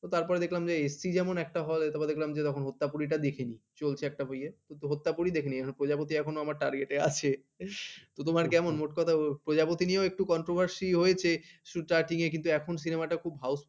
তারপর দেখলাম যে এসছি যেমন একটা hall এ তারপর দেখলাম যে হত্যা পরী টা দেখেনি চলছে চলছে একটা ওয়ে হত্যা করে দেখেনি প্রজাপতি এখন আমার target আছে তোমার কেমন মোট কথা প্রজাপতি নিয়ে একটু controversy হয়েছে কিন্তু এখন cinema খুব housefull